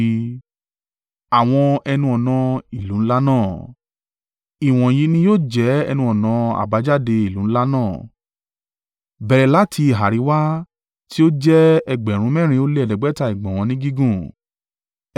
“Ìwọ̀nyí ní yóò jẹ́ ẹnu-ọ̀nà àbájáde ìlú ńlá náà: “Bẹ̀rẹ̀ láti ìhà àríwá, ti ó jẹ́ ẹgbẹ̀rún mẹ́rin ó lè ẹ̀ẹ́dẹ́gbẹ̀ta (4,500) ìgbọ̀nwọ́ ni gígùn,